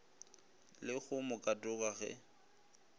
le go mo katoga ge